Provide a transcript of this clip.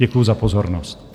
Děkuju za pozornost.